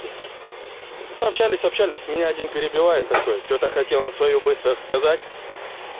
те ну общались общались меня один перебивает такое чего-то хотел он своё быстро сказать